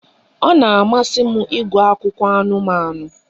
Ọ na-amasị m ịgụ akụkọ anụmanụ